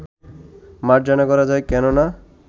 মার্জনা করা যায়, কেন না